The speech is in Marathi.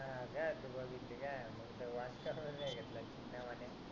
हा काय तू बघितली काय मग तर